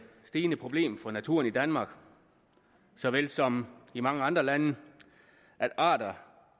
stigende problem for naturen i danmark såvel som i mange andre lande at arter